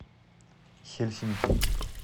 хельсинки